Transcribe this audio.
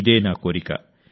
ఇదే నా కోరిక